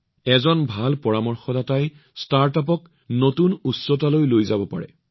এজন ভাল পৰামৰ্শদাতাই ষ্টাৰ্টআপক নতুন উচ্চতালৈ লৈ যাব পাৰে